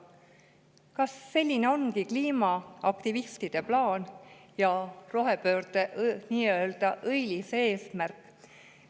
Kas selline ongi kliimaaktivistide plaan ja rohepöörde nii-öelda õilis eesmärk?